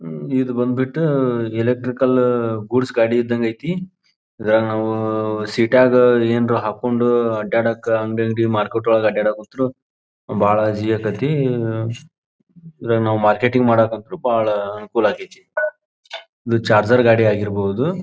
ಇದು ಬಂದಬಿಟ್ಟು electrical goods ಗಾಡಿ ಇದಂಗ ಐತಿ ಇವಾಗ ನಾವು ಸೀಟಾಗ ಎನ್ರು ಹಾಕೊಂಡು ಅಡ್ಡಾಡಕ್ಕ ಅಂಗಡಿ ಅಂಗಡಿ ಮಾರ್ಕೆಟ್ ಒಳಗ ಅಡ್ಡಾಡಕ್ಕ ಕೂತ್ರು ಈವಾಗ ನಾವು ಮಾರ್ಕೆಟಿಂಗ್ ಮಾಡಕತ್ರು ಬಹಳ ಅನಕೂಲ ಆಗತ್ಯತಿ ಇದು ಚಾರ್ಜರ್ ಗಾಡಿ ಆಗಿರಬಹುದು.